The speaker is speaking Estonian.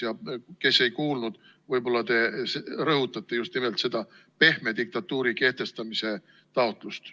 Ja neile, kes ei kuulnud, võib-olla te rõhutate just nimelt seda pehme diktatuuri kehtestamise taotlust.